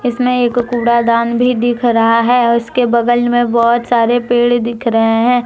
इसमें एक कूड़ा दान भी दिख रहा है उसके बगल में बहोत सारे पेड़ दिख रहे हैं ।